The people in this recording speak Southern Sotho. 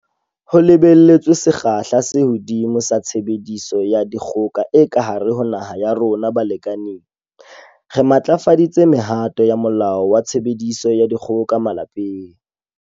Ho lebelletswe sekgahla se hodimo sa tshebediso ya dikgoka e ka hare ho naha ya rona balekaneng, re matlafaditse mehato ya Molao wa Tshebediso ya Dikgoka Malapeng.